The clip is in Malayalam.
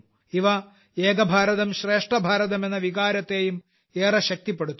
ഇവ ഏക ഭാരതം ശ്രേഷ്ഠ ഭാരതം എന്ന വികാരത്തെയും ഏറെ ശക്തിപ്പെടുത്തുന്നു